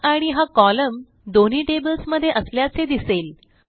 book id हा column दोन्ही tables मध्ये असल्याचे दिसेल